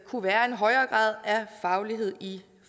kunne være en højere grad af faglighed i